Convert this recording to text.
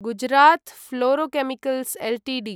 Gujarat Fluorochemicals Ltd